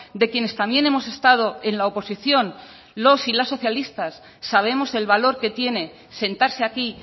de quienes también hemos estado en la oposición los y las socialistas sabemos el valor que tiene sentarse aquí